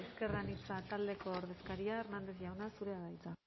esker anitza taldeko ordezkaria hernández jauna zurea da hitza